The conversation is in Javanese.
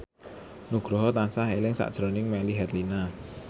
Nugroho tansah eling sakjroning Melly Herlina